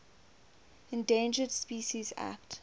endangered species act